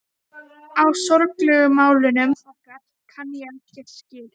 Á sorglegu málunum okkar kann ég ekki skil.